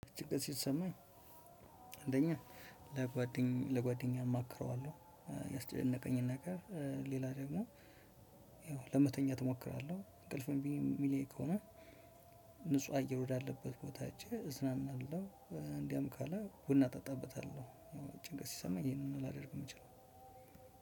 ጭንቀት ሲሰማኝ አንደኛ ለጓደኛ ለጓደኛ አማክረዋለሁ ያስጨነቀኝን ነገር ሌላ ደግሞ ለመተኛት እሞክራለሁ እንቅልፍም እምቢ የሚለኝ ከሆነ እ ንጹህ አየር ወዳለበት ቦታ ሄጄ እዝናናለሁ። እንዲያም ካለ ቡና እጠጣበታለሁ። ጭንቀት ሲሰማኝ ይሄንን ላደርግ የምችለው